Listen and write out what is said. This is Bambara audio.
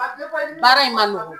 Baara in ma nɔgɔ.